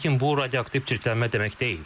Lakin bu, radioaktiv çirklənmə demək deyil.